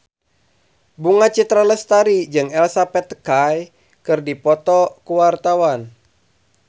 Bunga Citra Lestari jeung Elsa Pataky keur dipoto ku wartawan